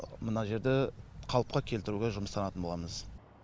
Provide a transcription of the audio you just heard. мына жерді қалыпқа келтіруге жұмыстанатын боламыз